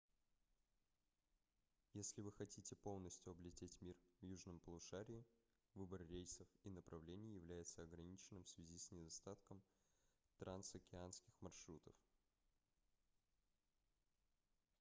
если вы хотите полностью облететь мир в южном полушарии выбор рейсов и направлений является ограниченным в связи с недостатком трансокеанских маршрутов